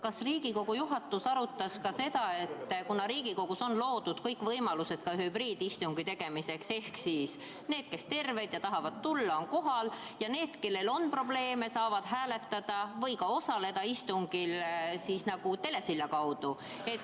Kas Riigikogu juhatus arutas ka seda, et kuna Riigikogus on loodud kõik võimalused ka hübriidistungi tegemiseks, siis saaks teha ka nii, et need, kes on terved ja tahavad tulla, on kohal, aga need, kellel on probleeme, saavad hääletada või ka osaleda istungil telesilla kaudu?